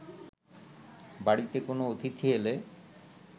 বাড়িতে কোনও অতিথি এলে